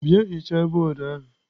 Bịa hichaa bọọdụ ahụ!